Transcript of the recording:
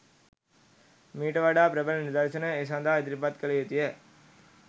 මීට වඩා ප්‍රබල නිදර්ශන ඒ සදහා ඉදිරිපත් කළ යුතුය.